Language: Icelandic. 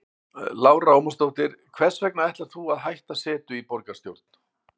Lára Ómarsdóttir: Hvers vegna ætlar þú að hætta setu í borgarstjórn?